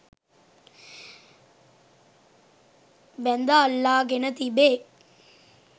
බැඳ අල්ලාගෙන තිබේ.